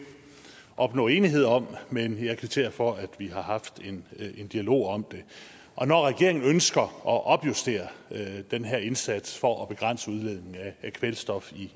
opnå enighed om men jeg kvitterer for at vi har haft en dialog om det og når regeringen ønsker at opjustere den her indsats for at begrænse udledningen af kvælstof